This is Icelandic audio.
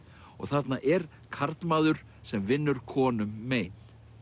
og þarna er karlmaður sem vinnur konum mein